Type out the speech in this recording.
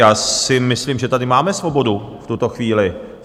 Já si myslím, že tady máme svobodu v tuto chvíli.